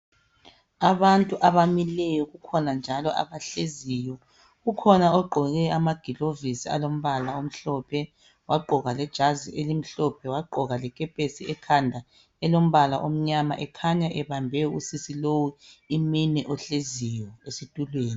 Abantu abamileyo kukhona njalo abahleziyo, ukhona ogqoke amagilovisi alombala omhlophe ,wagqoka lejazi elimhlophe wagqoka lekepesi ekhanda elombala omnyama ekhanya ebambe usisi lowu iminwe ohleziyo esitulweni.